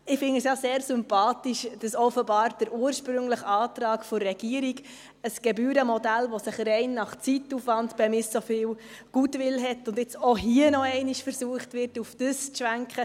Ich finde es ja sehr sympathisch, dass offenbar der ursprüngliche Antrag der Regierung, ein Gebührenmodell, dass sich rein nach Zeitaufwand bemisst, so viel Goodwill hat, und jetzt hier noch einmal versucht wird, darauf zu schwenken.